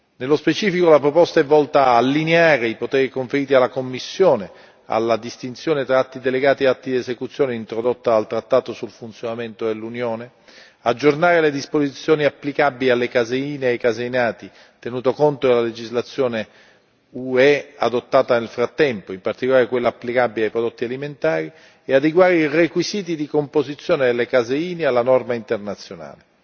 Nello specifico, la proposta è volta ad allineare i poteri conferiti alla Commissione alla distinzione tra atti delegati e atti di esecuzione introdotta dal trattato sul funzionamento dell'Unione, aggiornare le disposizioni applicabili alle caseine e ai caseinati, tenuto conto della legislazione UE adottata nel frattempo, in particolare quella applicabile ai prodotti alimentari, e adeguare i requisiti di composizione delle caseine alla norma internazionale.